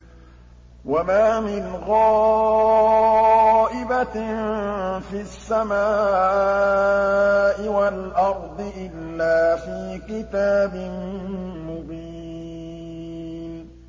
وَمَا مِنْ غَائِبَةٍ فِي السَّمَاءِ وَالْأَرْضِ إِلَّا فِي كِتَابٍ مُّبِينٍ